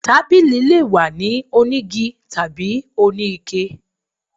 Tábilí lé wà ní onígí tabí oní iké